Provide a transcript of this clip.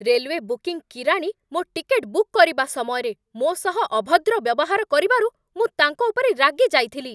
Railway booking କିରାଣୀ ମୋ ticket book କରିବା ସମୟରେ ମୋ ସହ ଅଭଦ୍ର ବ୍ୟବହାର କରିବାରୁ ମୁଁ ତାଙ୍କ ଉପରେ ରାଗି ଯାଇଥିଲି।